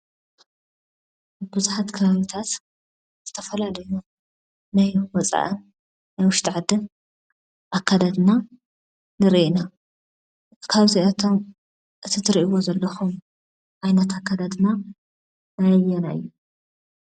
ብዙሓት ከባቢታት ዝተፈላለዩ ናይ ወፃእን ናይ ውሽጢ ዓድን ኣከዳድና ንርኢ ኢና፡፡ ካብዚኣቶም እቲ ትሪእይዎ ዘለኹም ዓይነት ኣከዳድና ናይ ኣየናይ እዩ?